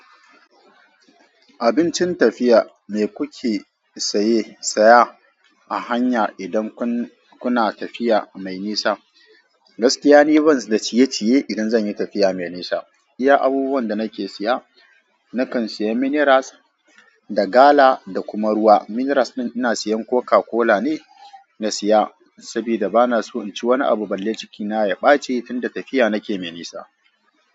Abincin tafiya me kuke saye, saya a hanya idan kun- kuna tafiya mai nisa? Gaskiya ni ban da ciye-ciye idan zan yi tafiya mai nisa. Iya abubuwan da nake siya nakan siya miniras da gala da kuma ruwa. Miniras ɗin inasiyan Coca-Cola ne na siya sabida bana so in ci wani abu balle cikina ya ɓaci tunda tafiya nake mai nisa.